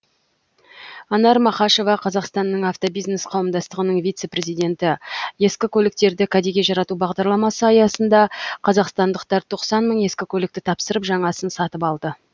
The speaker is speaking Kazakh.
анар мақашева қазақстанның автобизнес қауымдастығының вице президенті ескі көліктерді кәдеге жарату бағдарламасы аясында қазақстандықтар тоқсан мың ескі көлікті тапсырып жаңасын сатып алды